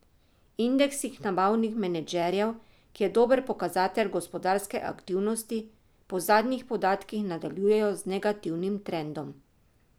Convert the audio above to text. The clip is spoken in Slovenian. Indeksi nabavnih menedžerjev, ki je dober pokazatelj gospodarske aktivnosti, po zadnjih podatkih nadaljujejo z negativnim trendom.